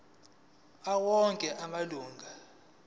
awo onke amalunga